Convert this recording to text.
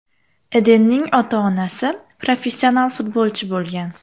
Edenning ota-onasi professional futbolchi bo‘lgan.